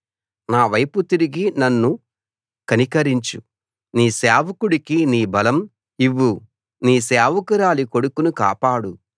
నావైపు తిరిగి నన్ను కనికరించు నీ సేవకుడికి నీ బలం ఇవ్వు నీ సేవకురాలి కొడుకును కాపాడు